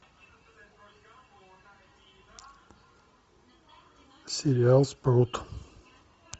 сериал спрут